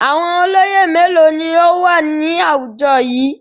Àwọn olóyè mélòó ni ó wà ní àwùjọ yìí?